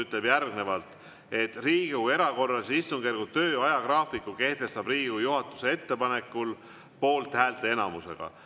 See ütleb, et Riigikogu erakorralise istungjärgu töö ajagraafiku kehtestab Riigikogu juhatuse ettepanekul poolthäälteenamusega.